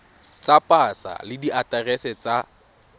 tsa pasa le diaterese tsa